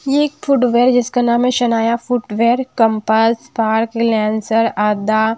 ये एक फुटवियर जिसका नाम है Shanaya footwear compass park Lancer आदा--